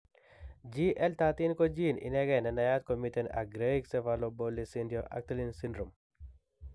GLI3 ko gene inegei nenayat komiten ak Greig cephalopolysyndactyly syndrome